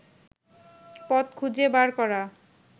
পথ খুঁজে বার করা